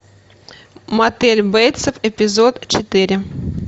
мотель бейтсов эпизод четыре